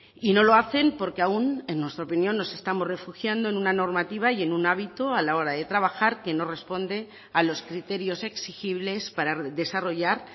y no lo hacen porque aun en nuestra opinión nos estamos refugiando en una normativa y en un hábito a la hora de trabajar que no responde a los criterios exigibles para desarrollar